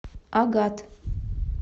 агат